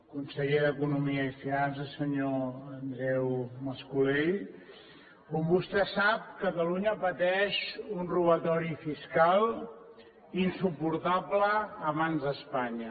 conseller d’economia i coneixement senyor andreu mas colell com vostè sap catalunya pateix un robatori fiscal insuportable a mans d’espanya